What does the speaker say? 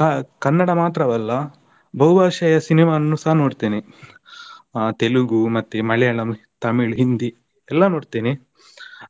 ಕಾ~ ಕನ್ನಡ ಮಾತ್ರವಲ್ಲ ಬಹು ಭಾಷೆಯ cinema ವನ್ನುಸ ನೋಡ್ತೇನೆ ತೆಲುಗು ಮತ್ತೆ ಮಲಯಾಳಂ, ತಮಿಳು, ಹಿಂದಿ ಎಲ್ಲಾ ನೋಡ್ತೇನೆ.